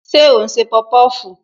Ṣé o n se popofu?